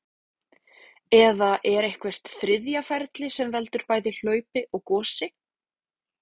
Eða er eitthvert þriðja ferli sem veldur bæði hlaupi og gosi?